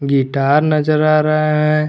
Guitar नजर आ रहा है।